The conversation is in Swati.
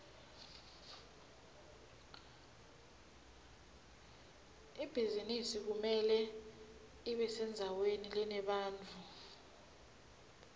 ibhizinisi kumele ibesendzaweni lenebantfu